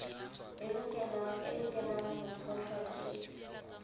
e lokelwang ho tshohlwa ke